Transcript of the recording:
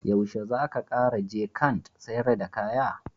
Yaushe zaka Kara je Kant sayar da kaya?